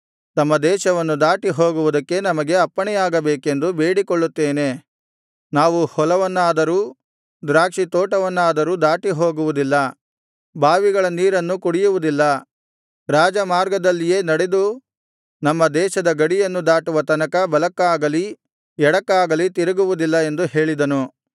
ತಮ್ಮ ದೇಶವನ್ನು ದಾಟಿಹೋಗುವುದಕ್ಕೆ ನಮಗೆ ಅಪ್ಪಣೆಯಾಗಬೇಕೆಂದು ಬೇಡಿಕೊಳ್ಳುತ್ತೇವೆ ನಾವು ಹೊಲವನ್ನಾದರೂ ದ್ರಾಕ್ಷಿತೋಟವನ್ನಾದರೂ ದಾಟಿ ಹೋಗುವುದಿಲ್ಲ ಬಾವಿಗಳ ನೀರನ್ನು ಕುಡಿಯುವುದಿಲ್ಲ ರಾಜಮಾರ್ಗದಲ್ಲಿಯೇ ನಡೆದು ನಮ್ಮ ದೇಶದ ಗಡಿಯನ್ನು ದಾಟುವ ತನಕ ಬಲಕ್ಕಾಗಲಿ ಎಡಕ್ಕಾಗಲಿ ತಿರುಗುವುದಿಲ್ಲ ಎಂದು ಹೇಳಿಸಿದನು